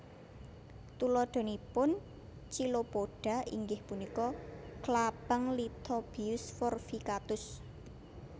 Tuladhanipun Chilopoda inggih punika klabang Lithobius forficatus